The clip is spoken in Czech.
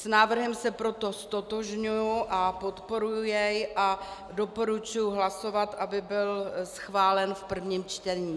S návrhem se proto ztotožňuji a podporuji jej a doporučuji hlasovat, aby byl schválen v prvním čtení.